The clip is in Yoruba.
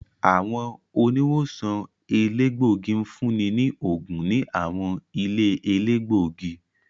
Àwọn oniwosan elegbogi ǹfuni ni óogun ni àwọn ìlé-elegbogi.